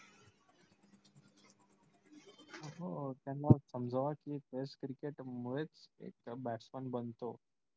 हो त्याना समजावा कि test cricket मुळेच एक batsman बनतो.